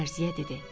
Dərziyə dedi.